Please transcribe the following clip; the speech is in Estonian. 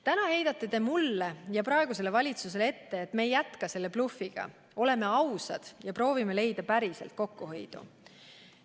Täna heidate te mulle ja praegusele valitsusele ette, et me ei jätka seda bluffi, oleme ausad ja proovime leida päriselt kokkuhoiukohti.